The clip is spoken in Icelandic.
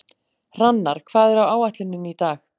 Hrannar, hvað er á áætluninni minni í dag?